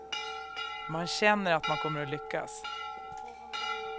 Man känner att man kommer att lyckas.